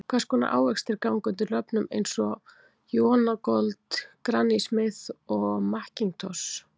Hvers konar ávextir ganga undir nöfnum eins og Jonagold, Granny Smith og McIntosh?